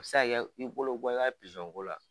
A bɛ se ka kɛ i bolo bɛ bɔ i ka ko la